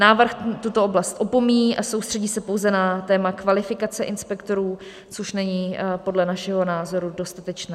Návrh tuto oblast opomíjí a soustředí se pouze na téma kvalifikace inspektorů, což není podle našeho názoru dostatečné.